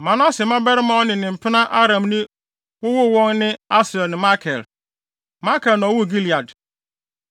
Manase mmabarima a ɔne ne mpena Aramni wowoo wɔn ne Asriel ne Makir. Makir na ɔwoo Gilead.